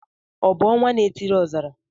Ọ bụ ọnwanaetiriọzara?